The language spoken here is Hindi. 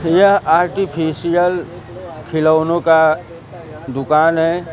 यह आर्टिफिशियल खिलौनों का दुकान है।